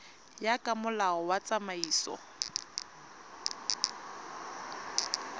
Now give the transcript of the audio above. ya ka molao wa tsamaiso